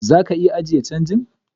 Zaka iya ajiye change.